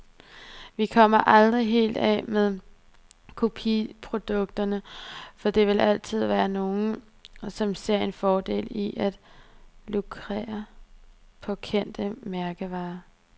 Vi kommer aldrig helt af med kopiprodukterne, for der vil altid være nogle, som ser en fordel i at lukrere på kendte mærkevarer.